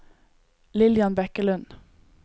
Lillian Bekkelund